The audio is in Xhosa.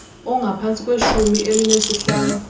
ongaphantsi kweshumi elinesihlanu